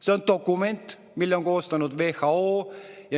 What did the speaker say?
See on dokument, mille on koostanud WHO.